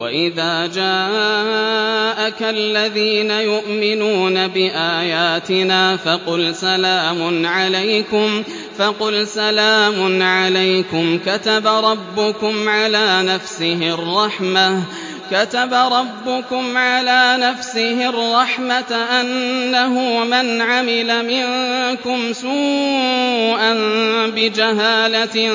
وَإِذَا جَاءَكَ الَّذِينَ يُؤْمِنُونَ بِآيَاتِنَا فَقُلْ سَلَامٌ عَلَيْكُمْ ۖ كَتَبَ رَبُّكُمْ عَلَىٰ نَفْسِهِ الرَّحْمَةَ ۖ أَنَّهُ مَنْ عَمِلَ مِنكُمْ سُوءًا بِجَهَالَةٍ